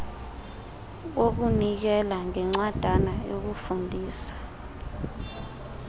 wokunikela ngencwadana yokufundisa